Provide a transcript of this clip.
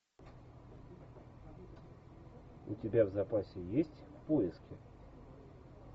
у тебя в запасе есть поиски